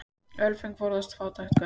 Ölföng forðast fátæks göng.